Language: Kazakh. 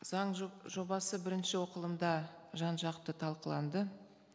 заң жобасы бірінші оқылымда жан жақты талқыланды